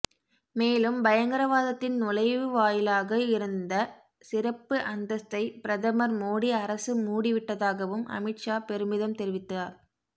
மேலும் பயங்கரவாதத்தின் நுழைவாயிலாக இருந்த சிறப்பு அந்தஸ்தை பிரதமர் மோடி அரசு மூடி விட்டதாகவும் அமித்ஷா பெருமிதம் தெரிவித்தார்